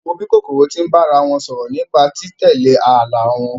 Wo bí kòkòrò tí ń bá ara wọn sọ̀rọ̀ nípa tí títẹ̀lé ààlà wọn!